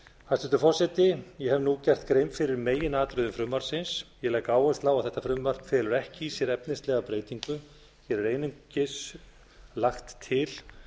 hæstvirtur forseti ég hef nú gert grein fyrir meginatriðum frumvarpsins ég legg áherslu á að þetta frumvarp felur ekki í sér efnislega breytingu hér er einungis lagt til